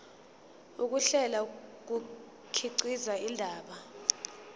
ukuhlela kukhiqiza indaba